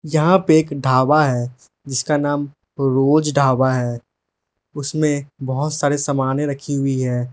यहां पे एक ढाबा है जिसका नाम रोज ढाबा है उसमें बहुत सारे सामाने रखी हुई है।